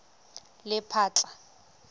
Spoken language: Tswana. lephatla